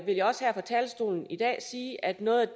vil jeg også her fra talerstolen i dag sige at noget